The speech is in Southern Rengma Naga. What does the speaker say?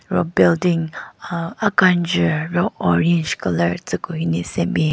ro building aah akenjvu ro orange colour tsü ku hyu ne senbin.